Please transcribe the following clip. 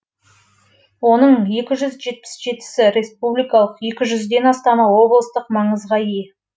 оның екі жүз жетпіс жетісі республикалық екі жүзден астамы облыстық маңызға ие